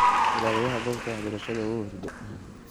Ilaliyaxa gobta waxbarashada uuhurde.